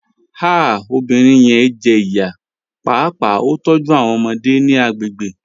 Ah obinrin yẹn jẹ iya, paapaa o tọju awọn ọmọde ni agbegbe